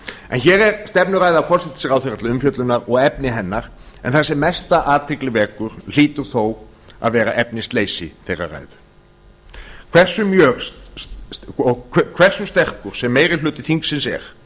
en hér er stefnuræða forsætisráðherra til umfjöllunar og efni hennar en það sem mesta athygli vekur hlýtur þó að vera efnisleysi þeirrar ræðu hversu sterkur sem meiri hluti þingsins er